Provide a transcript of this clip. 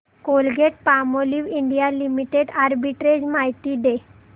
Colgate Palmolive India limited arbitrage माहिती दे